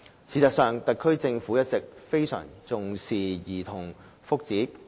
事實上，特區政府一直非常重視兒童福祉。